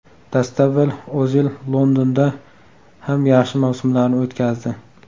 Dastavval O‘zil Londonda ham yaxshi mavsumlarni o‘tkazdi.